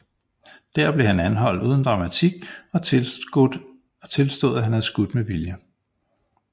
Der blev han anholdt uden dramatik og tilstod at have skudt med vilje